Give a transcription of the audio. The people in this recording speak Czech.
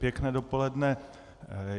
Pěkné dopoledne.